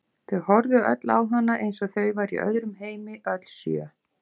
Þau horfðu öll á hana eins og þau væru í öðrum heimi, öll sjö.